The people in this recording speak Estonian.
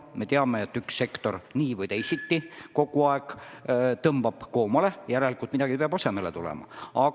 Me teame, et üks sektor nii või teisiti kogu aeg tõmbab koomale, järelikult midagi peab asemele tulema.